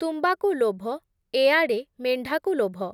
ତୁମ୍ବାକୁ ଲୋଭ, ଏଆଡ଼େ ମେଣ୍ଢାକୁ ଲୋଭ ।